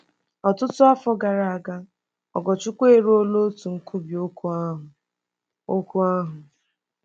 Ọtụtụ afọ gara aga, Ogorchukwu eruola otu nkwubi okwu ahụ. okwu ahụ.